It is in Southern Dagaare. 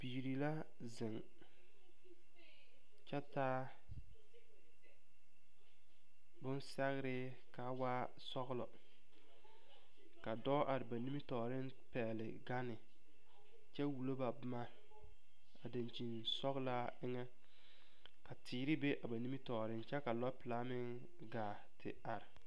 Biiri la zeŋ kyɛ taa bonsɛgre ka waa sɔglɔ ka dɔɔ are ba nimitɔɔreŋ pɛgle gane kyɛ wulo ba boma a dankyini sɔglaa eŋa ka teere be ba nimitɔɔeŋ kyɛ ka lɔɔre pelaa meŋ gaa te are.